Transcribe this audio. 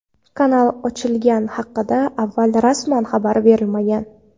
Kanal ochilgani haqida avval rasman xabar berilmagan.